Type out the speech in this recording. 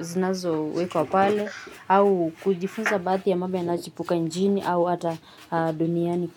zinazowekwa pale, au kujifunza baadhi ya mambo yanachipuka nchini au ata duniani.